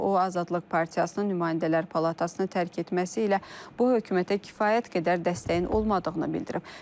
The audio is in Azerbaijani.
O Azadlıq Partiyasının nümayəndələr Palatasını tərk etməsi ilə bu hökumətə kifayət qədər dəstəyin olmadığını bildirib.